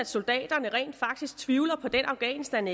soldater i afghanistan